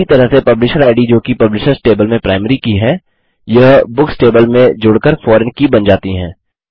उसी तरह से पब्लिशर इद जोकि पब्लिशर्स टेबल में प्राइमरी की है यह बुक्स टेबल में जोड़कर फॉरेन की बन जाती है